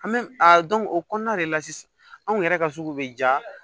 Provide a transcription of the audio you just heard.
An bɛ a dɔn o kɔnɔna de la sisan anw yɛrɛ ka sugu bɛ jaa